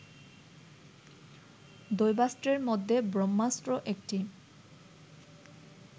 দৈবাস্ত্রের মধ্যে ব্রহ্মাস্ত্র একটি